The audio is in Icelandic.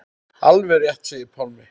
Alveg rétt segir Pálmi.